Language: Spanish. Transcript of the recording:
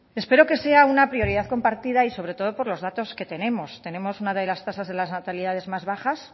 espero que sea una prioridad compartida y sobre todo por los datos que tenemos tenemos una de las tasas de natalidad más baja